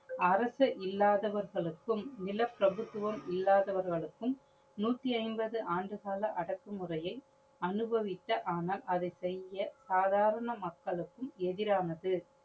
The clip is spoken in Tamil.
அரச இல்லாதவர்களுக்கும், நில பிரபுதுவம் இல்லாதவர்களுக்கும் நூற்றி ஐம்பது ஆண்டுகால அடக்குமுறையை அனுபவித்தர் ஆனால் அதை செய்ய சாதாரண மக்களுக்கும் எதிரானது.